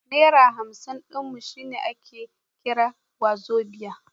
Naira hamsin ɗin mu shine ake kira wazobia.